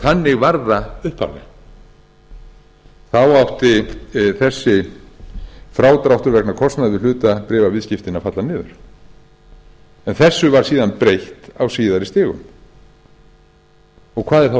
þannig var það sem sagt upphaflega þá átti þessi frádráttur vegna kostnaðar við hlutabréfaviðskiptin að falla niður en þessu var síðan breytt á síðari stigum hvað er þá að